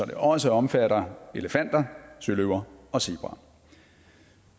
det også omfatter elefanter søløver og zebraer